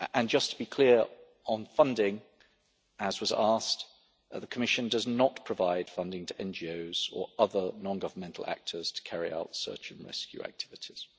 Just to be clear on funding, as was asked, the Commission does not provide funding to NGOs or other non governmental actors to carry out search and rescue activities.